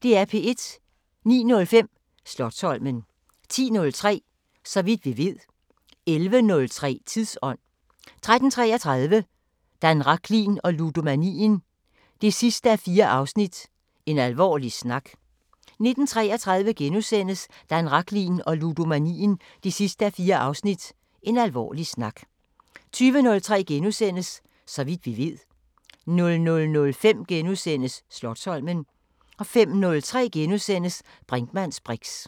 09:05: Slotsholmen 10:03: Så vidt vi ved 11:03: Tidsånd 13:33: Dan Rachlin og ludomanien 4:4 – En alvorlig snak 19:33: Dan Rachlin og ludomanien 4:4 – En alvorlig snak * 20:03: Så vidt vi ved * 00:05: Slotsholmen * 05:03: Brinkmanns briks *